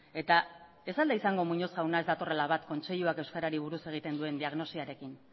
eta ez al da izango muñoz jauna ez datorrela bat kontseiluak euskarari buruz egin duen diagnosiarekin